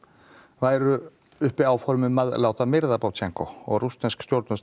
væru uppi áform um að láta myrða og að rússnesk stjórnvöld